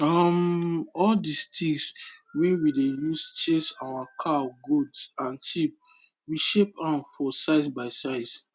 um all the stick wey we dey use chase our cowgoat and sheep we shape am for size by size